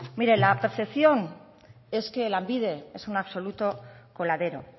la percepción es que lanbide es un absoluto coladero